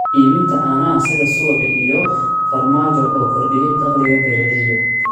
Iibinta caanaha sida subagga iyo farmaajo oo kordhiya dakhliga beeralayda.